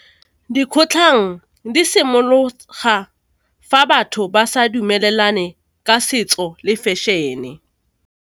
Dikgotlhang di simologa fa batho ba sa dumelane ka setso le fashion-e.